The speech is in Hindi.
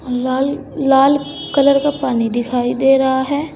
लाल लाल कलर का पानी दिखाई दे रहा है।